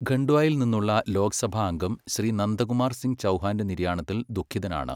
ഖൺഡ്വായിൽ നിന്നുള്ള ലോക സഭാംഗം ശ്രീ നന്ദകുമാർ സിംഗ് ചൗഹാന്റെ നിര്യാണത്തിൽ ദുഖിതനാണ്.